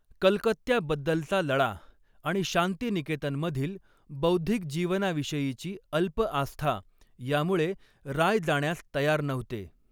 कलकत्त्याबद्दलचा लळा आणि शांतिनिकेतनमधील बौद्धिक जीवनाविषयीची अल्प आस्था यामुळे राय जाण्यास तयार नव्हते.